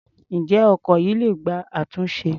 Ǹjẹ́ ọkọ̀ yìí le gba àtúnṣe?